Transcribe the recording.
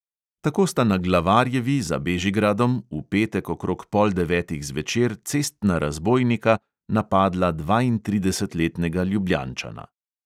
Tako sta na glavarjevi za bežigradom v petek okrog pol devetih zvečer cestna razbojnika napadla dvaintridesetletnega ljubljančana.